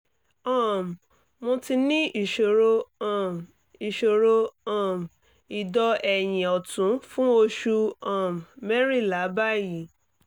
um mo ti ní ìṣòro um ìṣòro um ìdọ́ ẹ̀yin ọ̀tún fún oṣù um mẹ́rìnlá báyìí